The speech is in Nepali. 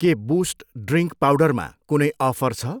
के बुस्ट ड्रिङ्क पाउडरमा कुनै अफर छ?